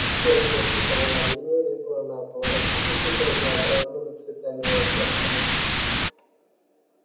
тонкая световая линия легла на пол рассыпавшись разнообразными цветами и оттенками